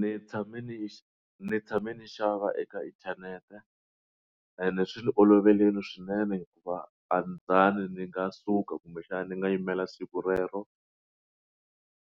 Ni tshame ni ni tshame ni xava eka inthanete ende swi ni oloverile swinene hikuva a ni zanga ni nga suka kumbexana ni nga yimela siku rero